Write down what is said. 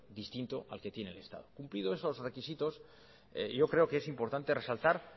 distinto al que tiene el estado cumplidos esos requisitos yo creo que es importante resaltar